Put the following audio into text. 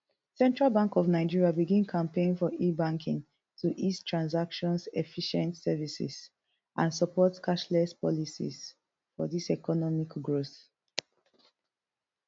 central bank of nigeria begin campaign for ebanking to ease transactions efficient services and support cashless policies for di economic growth